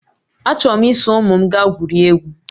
Achọrọ m iso ụmụ m gaa gwurie egwu